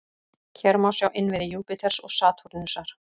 Hér má sjá innviði Júpíters og Satúrnusar.